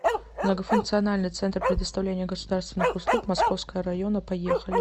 многофункциональный центр предоставления государственных услуг московского района поехали